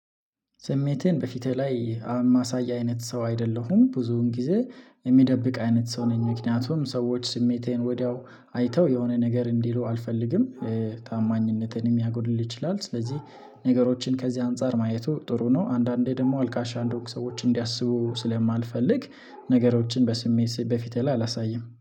ስሜቴን በፊቴ ላይ ማሳይ አይነት ሰው አይደለሁም ብዙውን ጊዜ የሚደብቅ አይነት ሰው ነኝ። ምክንያቱም ሰዎች ስሜቴን ወዲያው አይተው የሆነ ነገር እንዲሉ አልፈልግም። ታማኝነቴን የሚያጎድል ይችላል። ስለዚህ ነገሮችን ከዚህ አንፃር ማየቱ ጥሩ ነው። አንዳንዴ ደግሞ አልቃሻ እንደሆንኩ ሰዎች እንዲያስቡ ስለማልፈልግ ነገሮችን በስሜት በፊት ላይ አላሳይም